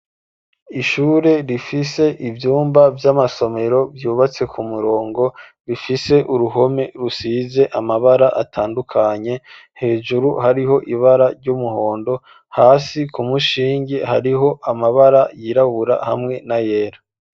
Ishure rifise ivyumba vy'amasomero vyubatse ku murongo ,rifise uruhome rusize amabara atandukanye ,hejuru hariho ibara ry'umuhondo ,hasi ku mushinge hariho amabara yirabura hamwe na yera.